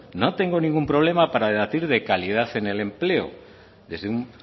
no tengo ningún problema para debatir de calidad en el empleo desde un